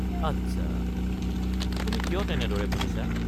আচ্ছা। তুমি কিয় তেনেদৰে ভাবিছা?